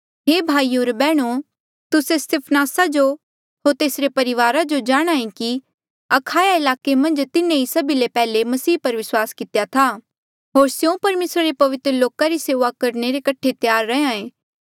हे भाईयो होर बैहणो तुस्से स्तिफनासा जो होर तेसरे परिवारा जो जाणहां ऐें कि अखाया ईलाके मन्झ तिन्हें ही सभी ले पैहले मसीह पर विस्वास कितेया था होर स्यों परमेसरा रे पवित्र लोका री सेऊआ रे कठे त्यार रैंहयां ऐें